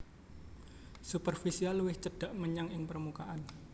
Superfisial luwih cedhak menyang ing permukaan